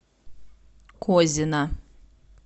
козина